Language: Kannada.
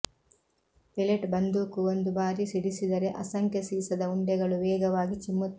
ಪೆಲೆಟ್ ಬಂದೂಕು ಒಂದು ಬಾರಿ ಸಿಡಿಸಿದರೆ ಅಸಂಖ್ಯ ಸೀಸದ ಉಂಡೆಗಳು ವೇಗವಾಗಿ ಚಿಮ್ಮುತ್ತವೆ